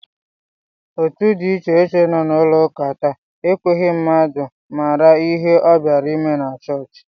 Otu dị iche iche nọ n'ụlọụka taa ekweghị mmadụ mara ihe ọ bịara ime na chọọchị